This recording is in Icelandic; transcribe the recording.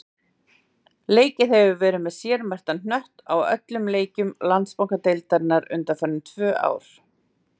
Leikið hefur verið með sérmerktan knött á öllum leikjum Landsbankadeildarinnar undanfarin tvö ár.